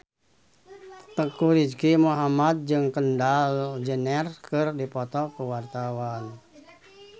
Teuku Rizky Muhammad jeung Kendall Jenner keur dipoto ku wartawan